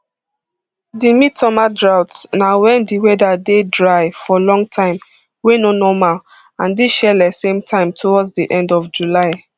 di midsummer drought na wen di weather dey dry for long time wey no normal and dis shele same time towards di end of july